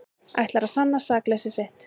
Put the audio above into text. Ætlar að sanna sakleysi sitt